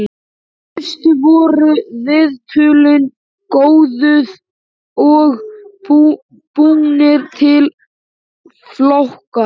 Fyrst voru viðtölin kóðuð og búnir til flokkar.